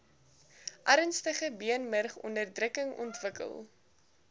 ernstige beenmurgonderdrukking ontwikkel